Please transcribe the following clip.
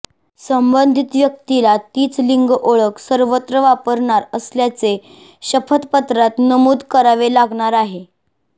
संबंधित व्यक्तीला तीच लिंगओळख सर्वत्र वापरणार असल्याचे शपथपत्रात नमूद करावे लागणार आहे